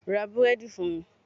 Ra Búrẹ́dì fún mi.